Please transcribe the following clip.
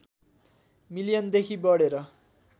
मिलियनदेखि बढेर